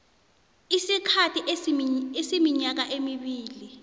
isikhathi esiminyaka emibili